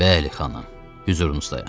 Bəli, xanım, hüzurunuzdayam.